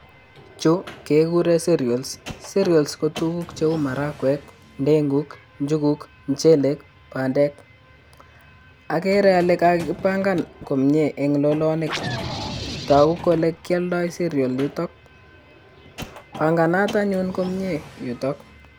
chuu kekuren cereals cereals kotukuuk cheu maragwek, ndeguk,, njuguk y muchele bandek, okere ole kakibankan komie en lolonik toku kole kioldo cereals bankanan anyun komii yutok.